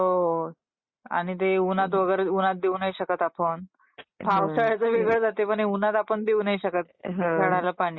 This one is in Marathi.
हो .. आणि ते उन्हात वगैरे, उन्हात देऊ नाही शकत आपण. पावसाळ्याचं वेगळ असतय पण उन्हाळ्यात आपण देऊ नाही शकत झाडाला पाणी